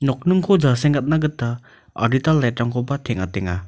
nokningko jasengatna gita adita light-rangkoba teng·atenga.